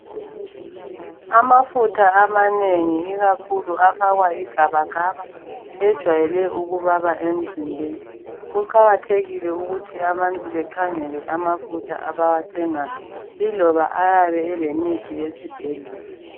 Amafutha amanengi ikakhulu afakwa igabagaba ejwayele ukubaba emzimbeni. Kuqakathekile ukuthi abantu bakhangele amafutha abawathengayo iloba ayabe elemithi yesibhedlela.